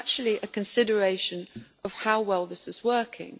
it is actually a consideration of how well this is working.